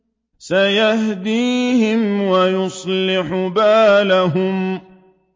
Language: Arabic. سَيَهْدِيهِمْ وَيُصْلِحُ بَالَهُمْ